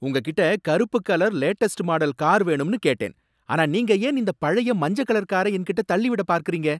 உங்ககிட்ட கருப்பு colour latest model car வேணும்னு கேட்டேன், ஆனா நீங்க ஏன் இந்த பழைய மஞ்ச கலர் கார என்கிட்ட தள்ளி விட பார்க்கறீங்க?